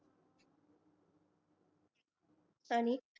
आणि